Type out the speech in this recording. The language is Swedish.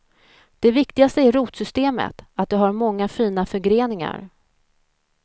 Det viktigaste är rotsystemet, att det har många fina förgreningar.